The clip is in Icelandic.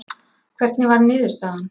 Hvernig varð niðurstaðan?